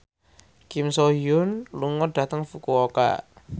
Kim So Hyun lunga dhateng Fukuoka